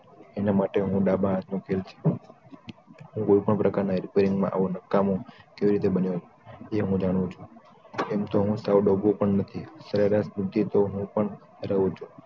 એના માટે હું ડાબા હાથનો ખેલ છું હું કોઈપણ પ્રકાર ના repairing માં આવું નકામું કેવી રીતે બન્યું એ હું જાણું છુ એમ હું સાવ ડોબો પણ નથી સરેરાશ બુધ્ધિ તો હું પણ રાખું છું